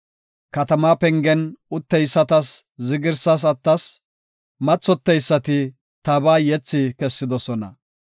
Katama pengen utteysatas zigrisas attas; mathoteysati tabaa yethi kessidosona.